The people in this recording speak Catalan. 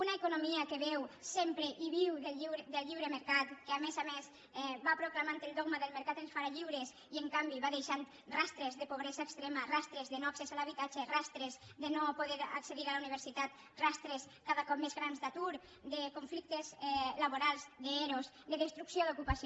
una economia que beu sempre i viu del lliure mercat que a més a més va proclamant el dogma d’ el mercat ens farà lliures i en canvi va deixant rastres de pobresa extrema rastres de no accés a l’habitatge rastres de no poder accedir a la universitat rastres cada cop més grans d’atur de conflictes laborals d’ero de destrucció d’ocupació